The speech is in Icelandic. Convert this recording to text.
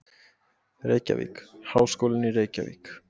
Reykjavík: Háskólinn í Reykjavík.